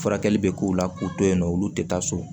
Furakɛli bɛ k'u la k'u to yen nɔ olu tɛ taa so